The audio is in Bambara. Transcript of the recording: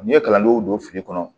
N'i ye kalandenw don fili kɔnɔ